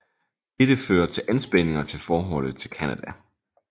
Dette fører til anspændinger til forholdet til Canada